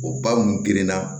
O ba mun gerenna